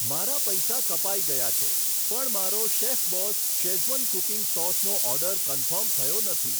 મારા પૈસા કપાઈ ગયા છે, પણ મારો શેફબોસ શેઝવન કૂકિંગ સોસનો ઓર્ડર કન્ફર્મ થયો નથી.